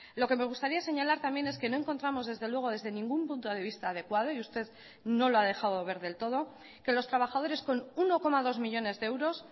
lo que me gustaría señalar también es que no encontramos desde luego desde ningún punto de vista adecuado y usted no lo ha dejado ver del todo que los trabajadores con uno coma dos millónes de euros